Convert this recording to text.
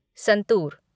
santoor